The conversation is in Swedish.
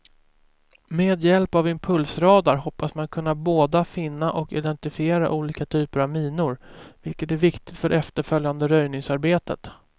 Med hjälp av impulsradar hoppas man kunna båda finna och identifiera olika typer av minor, vilket är viktigt för det efterföljande röjningsarbetet.